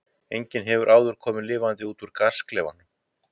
enginn hefur áður komið lifandi út úr gasklefanum